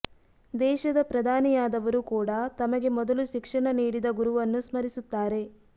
ದೇಶದ ಪ್ರಧಾನಿಯಾದವರೂ ಕೂಡ ತಮಗೆ ಮೊದಲು ಶಿಕ್ಷಣ ನೀಡಿದ ಗುರುವನ್ನು ಸ್ಮರಿಸುತ್ತಾರೆ